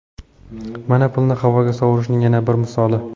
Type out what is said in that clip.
Mana pulni havoga sovurishning yana bir misoli.